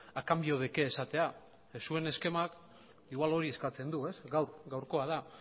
a cambio de qué esatea zuen eskemak agian hori eskatzen du ez gaur gaurkoa da